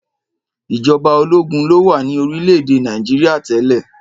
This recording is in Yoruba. Ìjọba ológun lo wà ní orílẹ̀-èdè Nàìjíríà tẹ́lẹ̀.